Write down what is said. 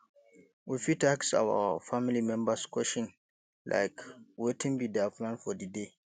we fit ask our family members question like wetin be their plan for di day